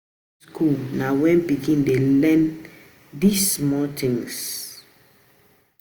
Primary school na when pikin dey learn di small things